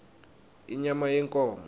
inyama yenkhomo